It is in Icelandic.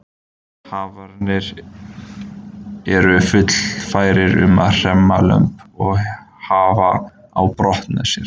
Hafernir eru fullfærir um að hremma lömb og hafa á brott með sér.